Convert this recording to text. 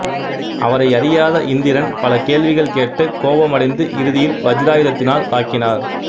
அவரை அறியாத இந்திரன் பல கேள்விகள் கேட்டு கோபமடைந்து இறுதியில் வஜ்ஜிராயுதத்தினால் தாக்கினார்